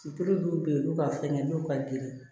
Sutulu dɔw be yen olu ka fɛngɛ n'u ka ginde ye